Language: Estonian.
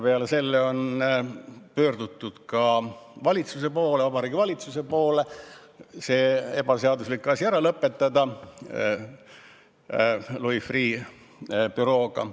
Peale selle on pöördutud ka Vabariigi Valitsuse poole see ebaseaduslik asi Louis Freeh' bürooga ära lõpetada.